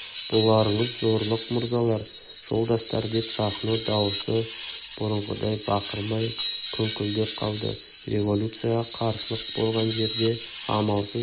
бұларыңыз зорлық мырзалар жолдастар деп сахно дауысы бұрынғыдай барқырамай күңкілдеп қалды революцияға қарсылық болған жерде амалсыз